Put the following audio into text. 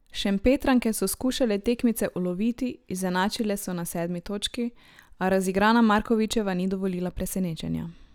Šempetranke so skušale tekmice uloviti, izenačile so na sedmi točki, a razigrana Markovičeva ni dovolila presenečenja.